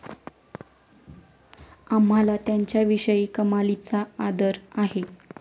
आम्हाला त्यांच्याविषयी कमालीचा आदर आहे.